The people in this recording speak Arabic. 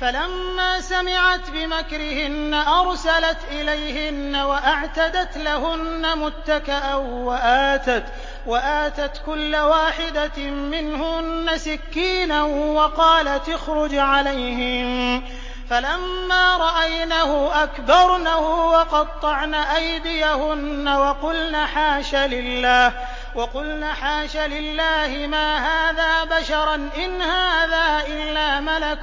فَلَمَّا سَمِعَتْ بِمَكْرِهِنَّ أَرْسَلَتْ إِلَيْهِنَّ وَأَعْتَدَتْ لَهُنَّ مُتَّكَأً وَآتَتْ كُلَّ وَاحِدَةٍ مِّنْهُنَّ سِكِّينًا وَقَالَتِ اخْرُجْ عَلَيْهِنَّ ۖ فَلَمَّا رَأَيْنَهُ أَكْبَرْنَهُ وَقَطَّعْنَ أَيْدِيَهُنَّ وَقُلْنَ حَاشَ لِلَّهِ مَا هَٰذَا بَشَرًا إِنْ هَٰذَا إِلَّا مَلَكٌ